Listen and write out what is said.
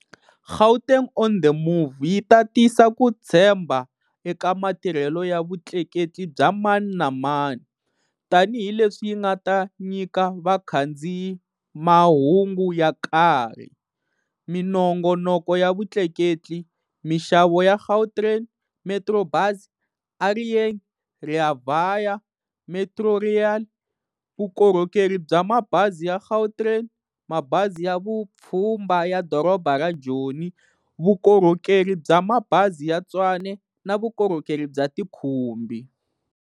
Gauteng on the Move yi ta tisa ku tshembha eka matirhelo ya vutleketli bya mani na mani, tanihi leswi yi nga ta nyika vakhandziyi mahungu ya nkarhi, minongonoko ya vutleketli, mixavo ya Gautrain, Metrobus, A Re Yeng, Rea Vaya, Metrorail, vukorhokerhi bya Mabazi ya Gautrain, Mabazi ya Vupfhumba ya Doroba ra Joni, Vukorhokerhi bya Mabazi ya Tshwane na vukorhokerhi bya tikhumbi.